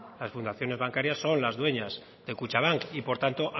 las fundaciones bancarias son las dueñas de kutxabank y por tanto